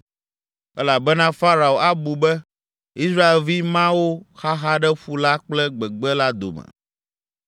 elabena Farao abu be, ‘Israelvi mawo xaxa ɖe ƒu la kple gbegbe la dome!’